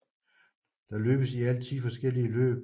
Der løbes i alt 10 forskellige løb